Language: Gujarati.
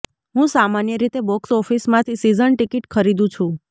હું સામાન્ય રીતે બોક્સ ઓફિસમાંથી સિઝન ટિકિટ ખરીદું છું